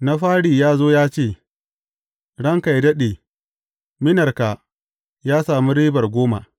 Na fari ya zo ya ce, Ranka yă daɗe, minarka ya sami ribar goma.’